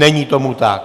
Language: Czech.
Není tomu tak.